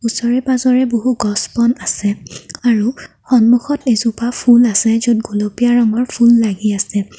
ওচৰে-পাজৰে বহু গছ-বন আছে আৰু সন্মুখত এজোপা ফুল আছে য'ত গুলপীয়া ৰঙৰ ফুল লাগি আছে।